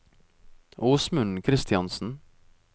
Åsmund Kristiansen